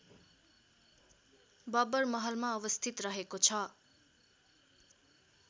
बबरमहलमा अवस्थित रहेको छ